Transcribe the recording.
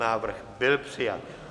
Návrh byl přijat.